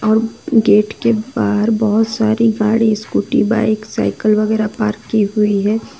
Gate के बाहर बहोत सारी गाड़ी स्कूटी बाईक साइकल वगैरा पार्क की हुई है।